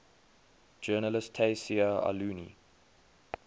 journalist tayseer allouni